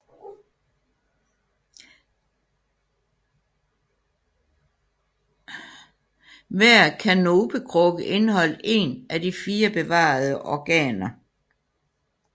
Hver kanopekrukke indeholdt én af de fire bevarede organer